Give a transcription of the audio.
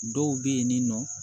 Dɔw bɛ yen nin nɔ